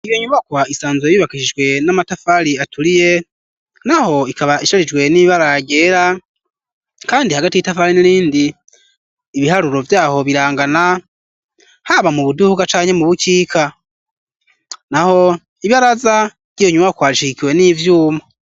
Iyo nyubakwa isanzue bubakishijhwe n'amatafali aturiye na ho ikaba isharijwe n'ibaragera, kandi hagati 'itafare nirindi ibiharuro vyaho birangana haba mu buduhuka canke mu bukika na ho ibaraza ry'iyo nyuba kwashikiwe n'ivyuma.